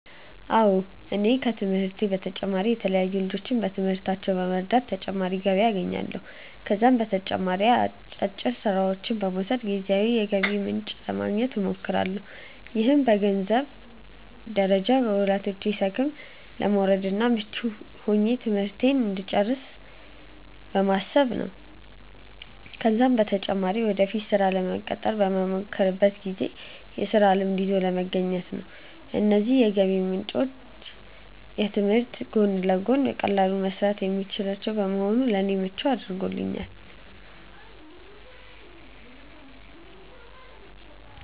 አዎ እኔ ከትምህርቴ በተጨማሪ የተለያዩ ልጆችን በትምህርታቸው በመርዳት ተጨማሪ ገቢ አገኛለሁ። ከዛም በተጨማሪ አጫጭር ስራዎችን በመውሰድ ጊዜያዊ የገቢ ምንጭ ለማግኘት እሞክራለሁ። ይህም በገንዘንብ ደረጃ ከወላጆቼ ሸክም ለመውረድ እና ምቹ ሆኜ ትምህርቴን እንድጨርስ በማሰብ ነው ነው። ከዛም በተጨማሪ ወደፊት ስራ ለመቀጠር በመሞክርበት ጊዜ የስራ ልምድ ይዞ ለመገኘት ነው። እነዚህ የገቢ ምንጮች ከትምህርት ጎን ለጎን በቀላሉ መሰራት የሚችሉ በመሆናቸው ለኔ ምቹ አድርጓቸዋል።